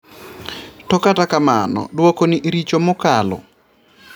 To kata kamano duoko ni richo mokalo